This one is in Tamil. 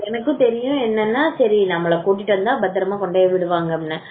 எனக்கும் தெரியும் என்னன்னா அவர் நம்மள கூட்டி வந்தா பத்திரமா கொண்டு போய் விடுவாங்க அப்படின்னு